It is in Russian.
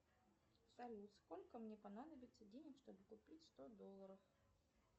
салют сколько мне понадобиться денег чтобы купить сто долларов